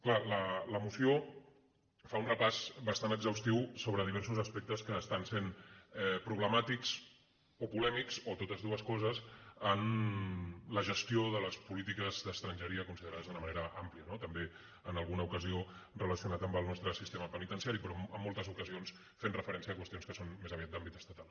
clar la moció fa un repàs bastant exhaustiu sobre di·versos aspectes que estan essent problemàtics o polè·mics o totes dues coses en la gestió de les polítiques d’estrangeria considerades d’una manera àmplia no també en alguna ocasió relacionat amb el nostre siste·ma penitenciari però amb moltes ocasions fent refe·rència a qüestions que són més aviat d’àmbit estatal